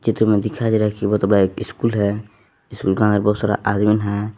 जो हमें दिखाई दे रहा है वो तो एक बड़ा इस्कूल है स्कूल के बाहर बहुत सारा आदमी है।